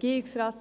werden.